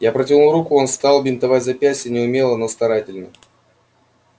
я протянул руку он стал бинтовать запястье неумело но старательно